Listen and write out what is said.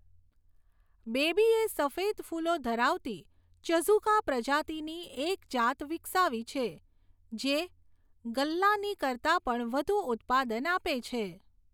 બેબીએ સફેદ ફૂલો ધરાવતી ચઝુકા પ્રજાતિની એક જાત વિકસાવી છે જે ગલ્લાની કરતાં પણ વધુ ઉત્પાદન આપે છે.